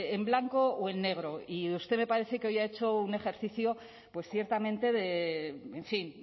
en blanco o en negro y usted me parece que hoy ha hecho un ejercicio pues ciertamente en fin